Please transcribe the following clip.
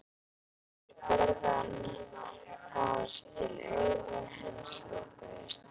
Þeir börðu hann þar til augu hans lokuðust.